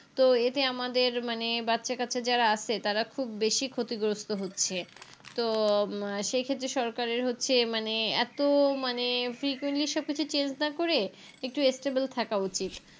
তো এতে আমাদের মানে বাচ্চা কাচ্চা যারা আছে তারা খুব বেশি ক্ষতিগ্রস্থ হচ্ছে তো উম সেই ক্ষেত্রে সরকারের হচ্ছে মানে এত মানে Frequently সবকিছু Change না করে একটু Stable থাকা উচিত